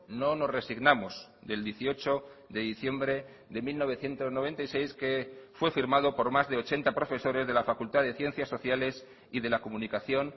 no nos resignamos del dieciocho de diciembre de mil novecientos noventa y seis que fue firmado por más de ochenta profesores de la facultad de ciencias sociales y de la comunicación